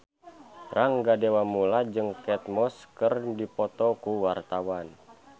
Rangga Dewamoela jeung Kate Moss keur dipoto ku wartawan